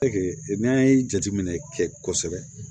n'an ye jateminɛ kɛ kosɛbɛ